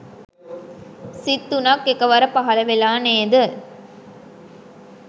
සිත් තුනක් එකවර පහල වෙලා නේද?